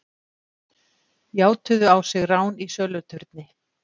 Játuðu á sig rán í söluturni